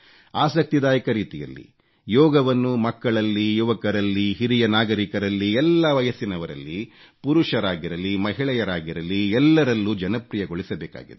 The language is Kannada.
ಆಸಕ್ತಿದಾಯಕ ರೀತಿಯಲ್ಲಿ ಯೋಗವನ್ನು ಮಕ್ಕಳಲ್ಲಿ ಯುವಕರಲ್ಲಿ ಹಿರಿಯ ನಾಗರೀಕರಲ್ಲಿ ಎಲ್ಲಾ ವಯಸ್ಸಿನವರಲ್ಲಿ ಪುರುಷರಾಗಿರಲಿ ಮಹಿಳೆಯಾಗಿರಲಿ ಎಲ್ಲರಲ್ಲೂ ಜನಪ್ರಿಯಗೊಳಿಸಬೇಕಾಗಿದೆ